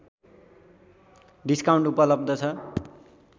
discount उपलब्ध छ